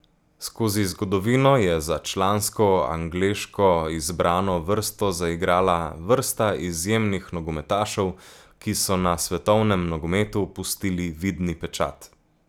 Skozi zgodovino je za člansko angleško izbrano vrsto zaigrala vrsta izjemnih nogometašev, ki so na svetovnem nogometu pustili vidni pečat.